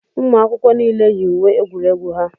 ụmụakwụkwọ niile yi uwe egwuregwu ha